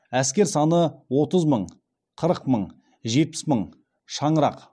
әскер саны отыз мың қырық мың жетпіс мың шаңырақ